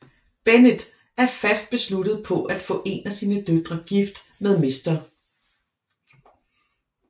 Bennet er fast besluttet på at få en af sine døtre gift med mr